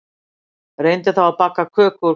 Reyndu þá að baka köku úr hveitinu